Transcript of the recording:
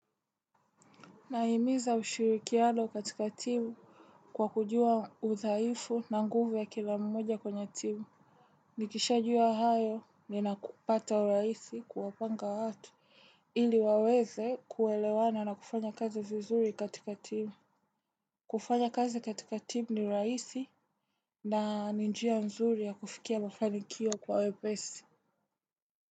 Nahimiza ushirikiano katika timu kwa kujua udhaifu na nguvu ya kila mmoja kwenye timu. Nikishajua hayo ninakupata urahisi kuwapanga watu ili. Ili waweze kuelewana na kufanya kazi vizuri katika timu. Kufanya kazi katika timu ni rahisi na ni njia nzuri ya kufikia mafanikio kwa wepesi.